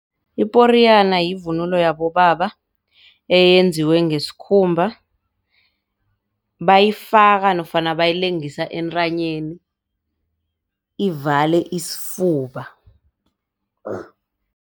Iporiyana yivunulo yabobaba eyenziwe ngesikhumba, bayifaka nofana bayilengisa entanyeni ivale isifuba.